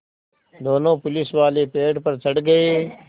दोनों पुलिसवाले पेड़ पर चढ़ गए